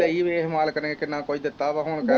ਵੇਖ ਮਾਲਕ ਨੇ ਕਿੰਨਾ ਕੁਝ ਦਿੱਤਾ ਵਾ ਹੁਣ ਕਹਿ